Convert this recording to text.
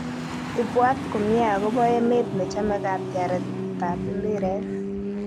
Ipwat komie akobo emet nechame katyaret ap mpiret.